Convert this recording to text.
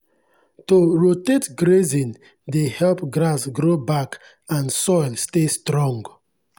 to rotate grazing dey help grass grow back and soil stay strong.